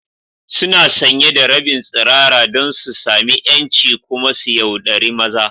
Suna sanye da rabin tsirara don su sami 'yanci kuma su yauɗari maza.